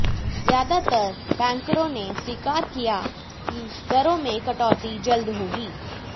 ज्यादातर बैंकरों ने स्वीकार किया कि दरों में कटौती जल्द होगी